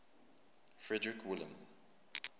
frederick william